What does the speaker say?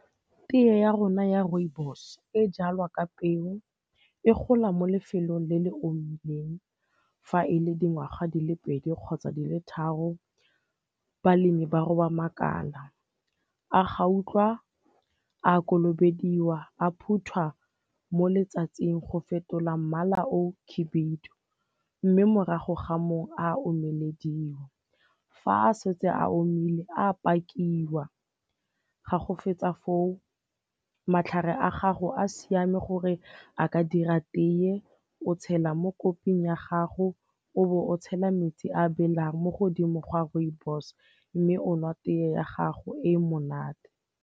Tee ya rona ya rooibos e jalwa ka peo e gola mo lefelong le le omileng. Fa e le dingwaga di le pedi kgotsa di le tharo, balemi ba roba makala. A gautlwa a kolobediwa, a phuthwa mo letsatsing go fetola mmala o khibidu, mme morago ga mo a omelediwa. Fa a setse a omile a pakiwa, ga go fetsa foo matlhare a gago a siame gore a ka dira tee, o tshela mo koping ya gago o bo o tshela metsi a belang mo godimo ga rooibos mme o nwa tee ya gago e monate.